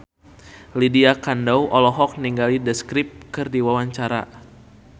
Lydia Kandou olohok ningali The Script keur diwawancara